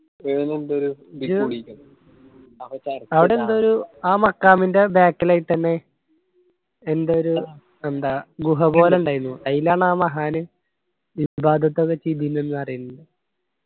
ആട എന്തോ ഒരു ആ മക്കാമിന്റെ back ഇലായിട്ടെന്നെ എന്തോ ഒരു എന്താ ഇണ്ടായിനു ആയിലാണ് ആ മഹാന് ഇബാദത് ഒക്കെ ചെയ്തതിന് ന്ന്‌ പറിയ്ന്നത്.